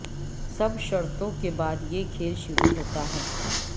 سب شرطوں کے بعد یہ کھیل شروع ہوتا ہے